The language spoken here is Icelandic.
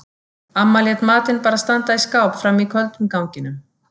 Amma lét matinn bara standa í skáp frammi í köldum ganginum.